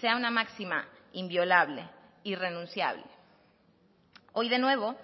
sea una máxima inviolable irrenunciable hoy de nuevo